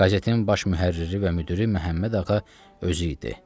Qəzetin baş mühərriri və müdiri Məhəmməd Ağa özü idi.